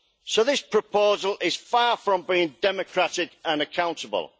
So this proposal is far from being democratic and accountable.